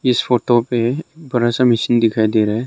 इस फोटो पे बड़ा सा मशीन दिखाई दे रहा है।